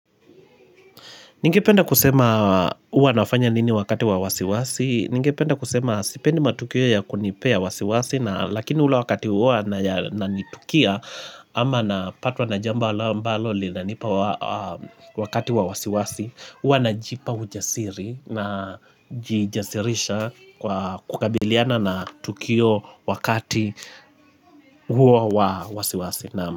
Ningependa kusema uwa nafanya nini wakati wa wasiwasi. Ningependa kusema sipendi matukio ya kunipea wasiwasi. Lakini ula wakati uwa na nitukia ama na patwa na jamba alambalo lina nipa wakati wa wasiwasi. Uwa na jipa ujasiri na jijasirisha kwa. Kukabiliana na tukio wakati huo wa wasiwasi.